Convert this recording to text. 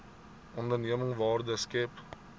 onderneming waarde skep